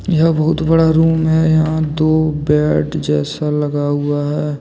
यह बहुत बड़ा रूम है यहां दो बेड जैसा लगा हुआ है।